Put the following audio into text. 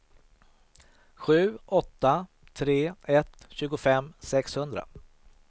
sju åtta tre ett tjugofem sexhundra